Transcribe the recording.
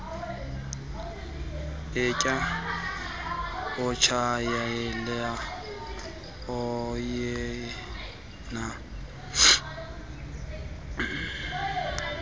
atya atshayela alekenea